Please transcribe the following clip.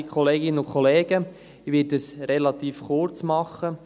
Ich werde es relativ kurz machen.